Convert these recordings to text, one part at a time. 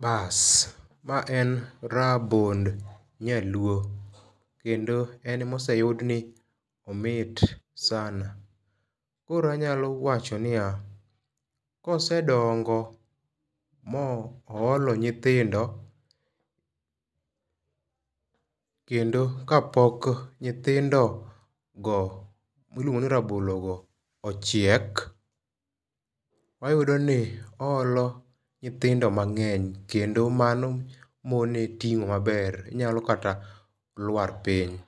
Baas ma en rabond nyaluo. Kendo en e moseyud ni omit sana. Koro anyalo wacho niya. Kose dongo mo olo nyithindo kendo kapok nyithindo go miluongo ni rabologo ochiek wayudo ni oolo nyithindo mang'eny kendo mano mone ting'o maber. Onyalo kata lwar piny.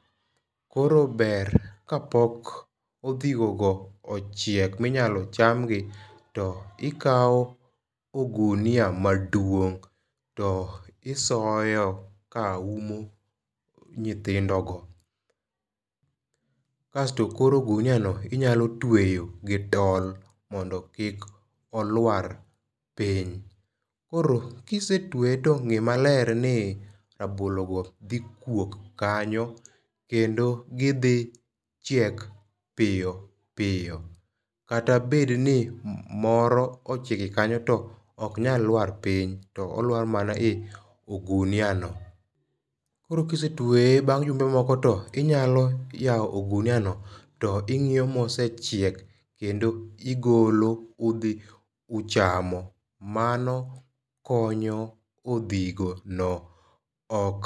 Koro ber ka pok odhigo go ochiek minyalo nchamgi to ikaw ogunia maduong' to isoyo ka umo nyithindo go. Kasto koro ogunia no inyalo tweyo gi tol mondo kik olwar piny. Koro kisetweye to ng'e maler ni rabolo go dhi kuok kanyo kendo gidhi chiek piyo piyo. Kata bed ni moro ochiek kanyo to ok nyal lwar piny. To olwar maa e ogunia no. Koro kisetweye bang' jumbe moko to inyalo yaw ogunia no to ing'iyo mosechiek kendo igolo udhi uchamo. Mano konyo odhigo no ok